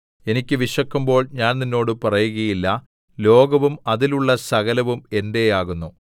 എനിക്ക് വിശക്കുമ്പോൾ ഞാൻ നിന്നോട് പറയുകയില്ല ലോകവും അതിലുള്ള സകലവും എന്റെയാകുന്നു